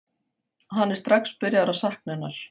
Hann er strax byrjaður að sakna hennar.